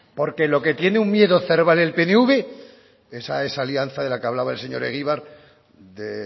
porque lo que tiene un miedo cerval el pnv esa es alianza de la que hablaba el señor egibar de